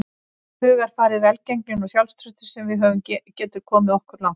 Hugarfarið, velgengnin og sjálfstraustið sem við höfum getur komið okkur langt.